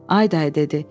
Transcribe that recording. "Ay dayı" dedi.